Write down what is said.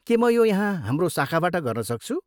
के म यो यहाँ हाम्रो शाखाबाट गर्नसक्छु?